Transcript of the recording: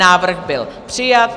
Návrh byl přijat.